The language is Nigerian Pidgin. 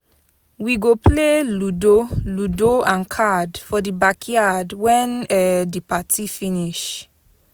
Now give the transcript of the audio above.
We go play ludo ludo and card for di backyard wen um di party finish.